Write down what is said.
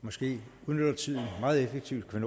hvis vi udnytter tiden meget effektivt kan